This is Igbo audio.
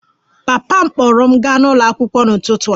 Papa m kpọọrọ m gaa ụlọ akwụkwọ n'ụtụtụ a